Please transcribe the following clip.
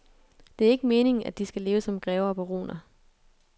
Det er ikke meningen, at de skal leve som grever og baroner.